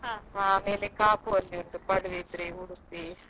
ಹಾ ಹಾ.